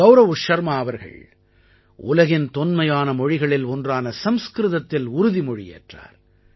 கௌரவ் ஷர்மா அவர்கள் உலகின் தொன்மையான மொழிகளில் ஒன்றான சம்ஸ்க்ருதத்தில் உறுதிமொழி ஏற்றார்